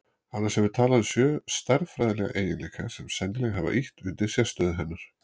annars hefur talan sjö stærðfræðilega eiginleika sem sennilega hafa ýtt undir sérstöðu hennar